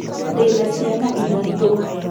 Ndĩna ciana ithatũ